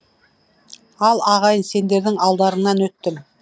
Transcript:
ал ағайын сендердің алдарыңнан өттім